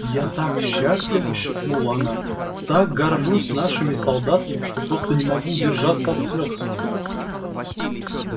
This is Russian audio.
я так счастлива шепнула она так горжусь нашими солдатами что просто не могу удержаться от слёз